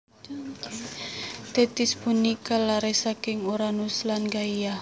Tethis punika lare saking Uranus lan Gaia